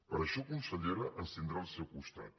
per a això consellera ens tindrà al seu costat